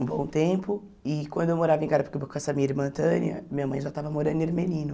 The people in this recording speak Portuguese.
um bom tempo, e quando eu morava em Carapicuíba com essa minha irmã Tânia, minha mãe já estava morando em Ermelino.